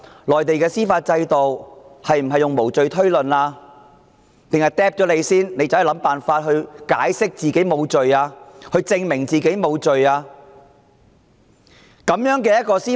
內地的司法制度奉行無罪推論原則，還是先拘捕疑犯，然後要疑犯設法解釋自己無罪，證明自己清白？